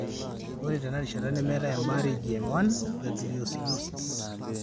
Ore tenarishata nemeetai embaare e GM1 gangliosidosis.